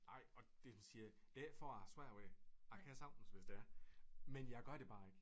Ej og det siger jeg det ikke for jeg har svært ved det jeg kan sagtens hvis det er men jeg gør det bare ikke